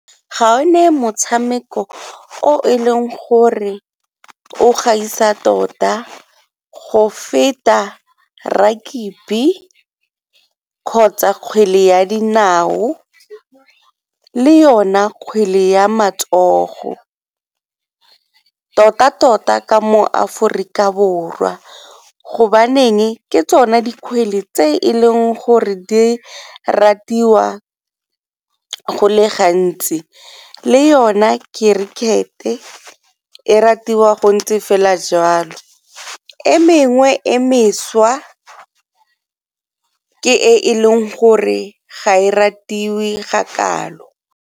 Ga o ne motshameko o e leng gore o gaisa tota go feta rugby kgotsa kgwele ya dinao le yona kgwele ya matsogo, tota tota ka mo aforika Borwa go baneng ke tsone dikgwele tse e leng gore di ratiwa go le gantsi le yone cricket-e e ratiwa go ntse fela jwalo. E mengwe e mešwa ke e e leng gore ga e ratiwe ga kalo.